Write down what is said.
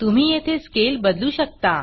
तुम्ही येथे Scaleस्केल बदलू शकता